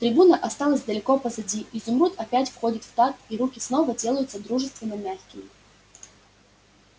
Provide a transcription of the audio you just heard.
трибуна осталась далеко позади изумруд опять входит в такт и руки снова делаются дружественно-мягкими